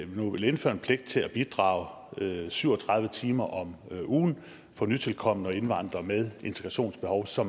nu vil indføre en pligt til at bidrage syv og tredive timer om ugen for nytilkomne og indvandrere med integrationsbehov så